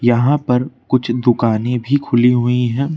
यहां पर कुछ दुकानें भी खुली हुई है।